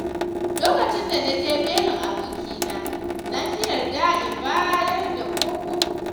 Lokacin da naje belin abokina na ƙi yarda da in bayar da ko kobo.